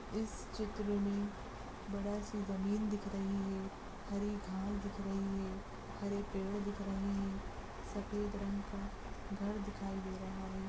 इस चित्र में बहोत सी जमीन दिख रही है हरी घास दिख रही है हरे पेड़ दिख रहे हैं सफेद रंग का घर दिखाई दे रहा है।